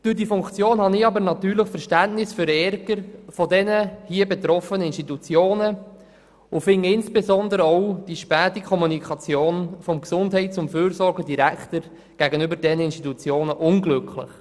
Durch diese Funktion habe ich natürlich Verständnis für den Ärger der hier betroffenen Institutionen und halte insbesondere auch die späte Kommunikation vonseiten des Gesundheits- und Fürsorgedirektors gegenüber den Institutionen für unglücklich.